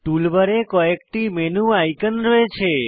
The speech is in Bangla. টুল বারে কয়েকটি মেনু আইকন রয়েছে